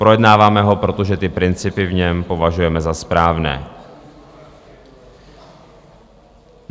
Projednáváme ho proto, že principy v něm považujeme za správné.